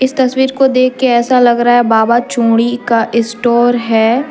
इस तस्वीर को देख के ऐसा लग रहा है बाबा चूड़ी का स्टोर है।